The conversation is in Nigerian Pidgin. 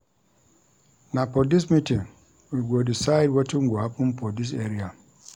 Na for dis meeting we go decide wetin go happen for dis area.